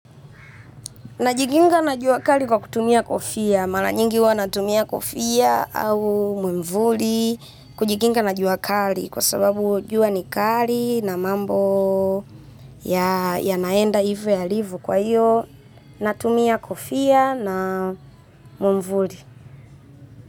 Najikinga na jua kali kwa kutumia kofia. Mara nyingi huwa natumia kofia au mwamvuli kujikinga na jua kali kwa sababu jua ni kali na mambo yanaenda hivyo yalivyo kwa hiyo natumia kofia na mwamvuli.